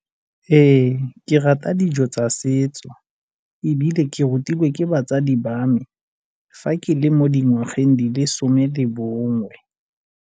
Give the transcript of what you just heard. Ee, ke rata dijo tsa setso ebile ke rutilwe ke batsadi ba me fa ke le mo dingwageng di le some le bongwe.